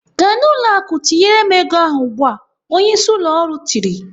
"Gaa n'ụlọ akụ tinyere m ego ahụ ugbu a!" Onyeisi ụlọ ọrụ tiri.